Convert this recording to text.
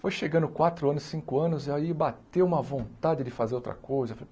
Foi chegando quatro anos, cinco anos, e aí bateu uma vontade de fazer outra coisa.